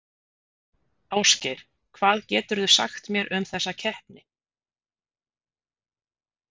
Ásgeir, hvað geturðu sagt mér um þessa keppni?